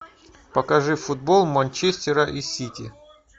покажи футбол манчестера и сити